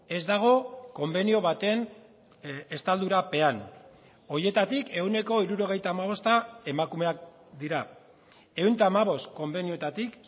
ez dago konbenio baten estaldurapean horietatik ehuneko hirurogeita hamabosta emakumeak dira ehun eta hamabost konbenioetatik